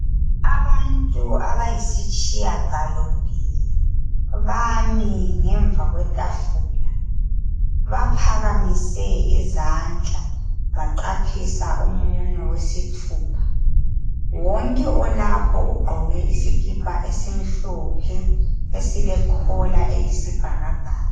Abantu abayisitshiya galombili bami ngemva kwetafuka baphakamise izandla, baqaphisa umunwe wesithupha. Wonke olapho ugqoke isikipa esimhlophe esilekhola eyisibhakabhaka.